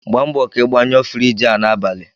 Gba mbọ ka ị gbanyụọ Friji a n'abalị!